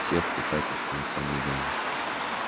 всех с писательскими фамилиями